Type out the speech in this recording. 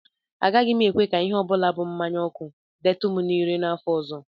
Agaghị m ekwe ka ihe ọ bụla bụ mmanya ọkụ detụ m ire n'afọ ọzọ